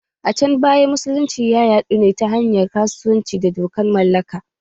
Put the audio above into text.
A can baya, musulunci ta yadu ne ta hanyar kasuwanci da dokan mallaka.